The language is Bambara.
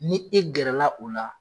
Ni e gɛrɛ la o la.